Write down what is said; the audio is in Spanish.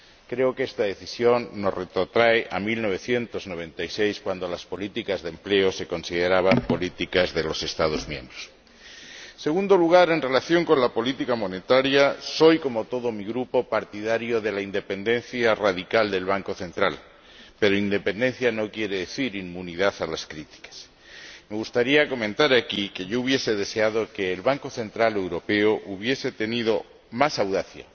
Creo que esta decisión nos retrotrae a 1996, cuando las políticas de empleo se consideraban políticas de los Estados miembros En segundo lugar, en relación con la política monetaria, soy, como todo mi Grupo, partidario de la independencia radical del Banco Central, pero independencia no quiere decir inmunidad a las críticas. Me gustaría comentar aquí que yo hubiera deseado que el Banco Central Europeo hubiese tenido más audacia